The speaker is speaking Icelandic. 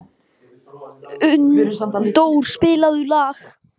Unndór, spilaðu lag.